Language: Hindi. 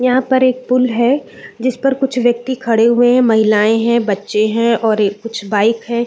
यहाँ पर एक पूल है जिस पर कुछ व्यक्ति खड़े हुए है महिलाए है बच्चे है और ए कुछ बाइक है।